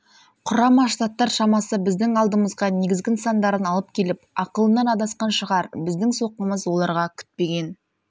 құрама штаттар шамасы біздің алдымызға негізгі нысандарын алып келіп ақылынан адасқан шығар біздің соққымыз оларға күтпеген